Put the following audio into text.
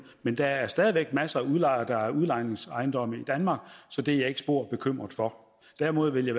men der er stadig masser af udlejere der har udlejningsejendomme i danmark så det er jeg ikke spor bekymret for derimod ville